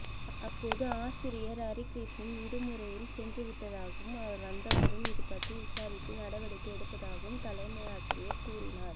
அப்போது ஆசிரியர் அரிகிருஷ்ணன் விடுமுறையில் சென்றுவிட்டதாகவும் அவர் வந்தவுடன் இதுபற்றி விசாரித்து நடவடிக்கை எடுப்பதாகவும் தலைமை ஆசிரியர் கூறினார